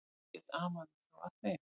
Ekkert amaði þó að þeim.